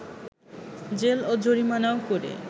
jail ও জরিমানাও করে